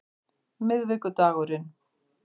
miðvikudagurinn